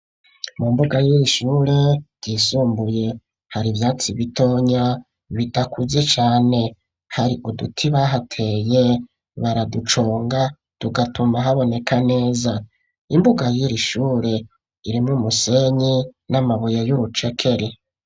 Mu mbuga yiri ishure ryisumbuye hari ivyatsi bitonya bidakuze cane hari uduti bahateye baraduconga tugatuma haboneka neza imbuga yiri ishure irimwo umusenyi n'amabuye y'urucekeri.